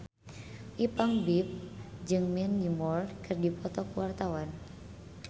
Ipank BIP jeung Mandy Moore keur dipoto ku wartawan